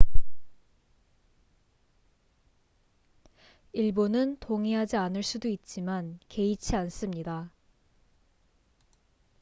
"""일부는 동의하지 않을 수도 있지만 개의치 않습니다.